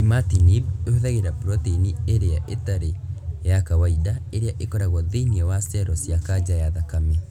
Imatinib ĩhũthĩraga proteini ĩria itarĩ ya kawaida ĩrĩa ĩkoragwo thĩ-iniĩ wa cero cia kanja ya thakame